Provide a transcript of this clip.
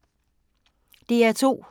DR2